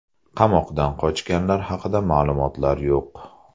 Qamoqdan qochganlar haqida ma’lumotlar yo‘q.